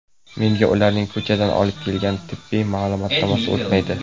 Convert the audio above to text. Menga ularning ko‘chadan olib kelgan tibbiy ma’lumotnomasi o‘tmaydi.